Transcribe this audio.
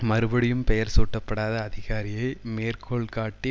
மறுபடியும் பெயர் சூட்டப்படாத அதிகாரியை மேற்கோள்காட்டி